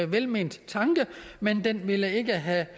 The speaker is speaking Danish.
velment tanke men den ville ikke have